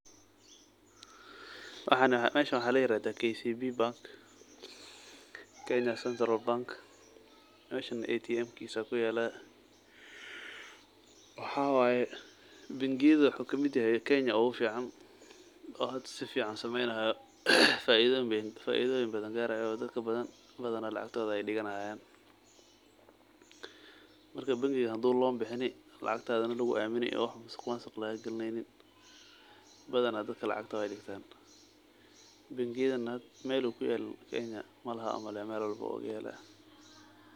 Meeshan waxa layirahda KCB kenya central bank oo meeshan atmkisa kuyala waxa waye baangiyada sifican ogasocdo wadanka kenya oo hda sifican ushaqeyo o faidoyin badan garayo dadka badan lacagto digannayan marka bangiga hadu lon bixini oo lacagto dadka wey kuaminan marka bangigan meel uu kuyalin malaha kenya.